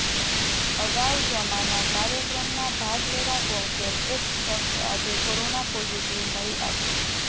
અગાઉ જમાના કાર્યક્રમમાં ભાગ લેવા પહોંચેલ એક શખ્સ આજે કોરોના પોઝિટિવ મળી આવ્યો